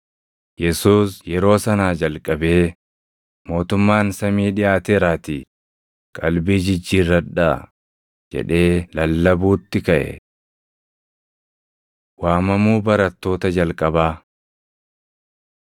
Yesuus yeroo sanaa jalqabee, “Mootummaan samii dhiʼaateeraatii qalbii jijjiirradhaa” jedhee lallabuutti kaʼe. Waamamuu Barattoota Jalqabaa 4:18‑22 kwf – Mar 1:16‑20; Luq 5:2‑11; Yoh 1:35‑42